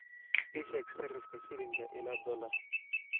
ii sheeg sarifka shilinka ilaa dollarka